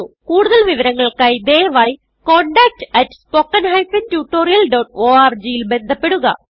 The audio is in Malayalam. കുടുതൽ വിവരങ്ങൾക്കായി ദയവായി contactspoken tutorialorg ൽ ബന്ധപ്പെടുക